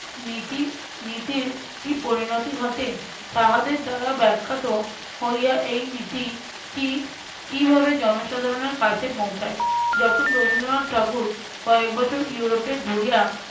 নীতি নীতির কি পরিণতি ঘটে তাহাদের দ্বারা ব্যাখ্যাত হইয়া এই নীতি কী~ কিভাবে জনসাধারণের কাছে পৌঁছায়। যখন রবীন্দ্রনাথ ঠাকুর কয়েক বছর ইউরোপে ঘুরিয়া